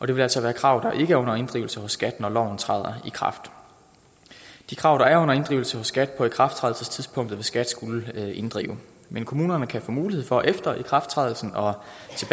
det vil altså være krav der ikke er under inddrivelse hos skat når loven træder i kraft de krav der er under inddrivelse hos skat på ikrafttrædelsestidspunktet vil skat skulle inddrive men kommunerne kan få mulighed for efter ikrafttrædelsen